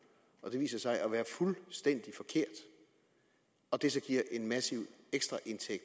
og det viser sig at være fuldstændig forkert og det så giver en massiv ekstraindtægt